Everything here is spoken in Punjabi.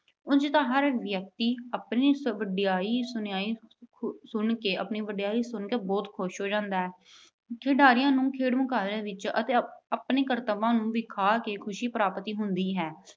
ਉਝ ਤਾਂ ਹਰ ਵਿਅਕਤੀ ਆਪਣੀ ਵਡਿਆਈ ਸੁਣਆਈ ਅਹ ਸੁਣ ਕੇ ਅਹ ਆਪਣੀ ਵਡਿਆਈ ਸੁਣ ਕੇ ਬਹੁਤ ਖੁਸ਼ ਹੋ ਜਾਂਦਾ ਹੈ। ਖਿਡਾਰੀਆਂ ਨੂੰ ਖੇਡ ਮੁਕਾਬਲਿਆਂ ਵਿੱਚ ਆਪਣੇ ਕਰਤਵ ਦਿਖਾ ਕੇ ਖੁਸ਼ੀ ਪ੍ਰਾਪਤ ਹੁੰਦੀ ਹੈ।